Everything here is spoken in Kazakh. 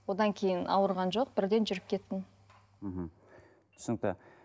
одан кейін ауырған жоқ бірден жүріп кеттім мхм түсінікті